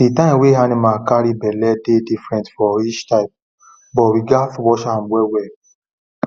the time wey animal carry belle dey different for each type but we gatz watch am well well